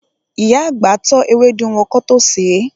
Ìyá àgbà tọ́ ewédú wọn kán tó sèé.